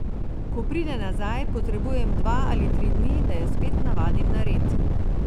Ko pride nazaj, potrebujem dva ali tri dni, da jo spet navadim na red.